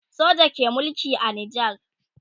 soja ke Mulki a nijar